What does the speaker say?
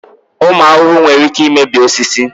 Ụmụ ahụhụ nwere ike imebi osisi.